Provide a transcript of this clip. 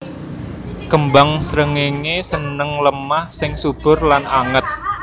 Kembang srengéngé seneng lemah sing subur lan anget